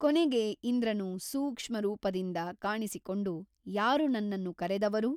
ಕೊನಗೆ ಇಂದ್ರನು ಸೂಕ್ಷ್ಮರೂಪದಿಂದ ಕಾಣಿಸಿಕೊಂಡು ಯಾರು ನನ್ನನ್ನು ಕರೆದವರು?